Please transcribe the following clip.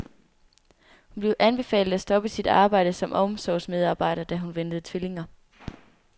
Hun blev anbefalet at stoppe sit arbejde som omsorgsmedarbejder, da hun ventede tvillingerne.